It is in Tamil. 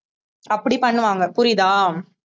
அப்படி பண்ணுவாங்க புரியுதா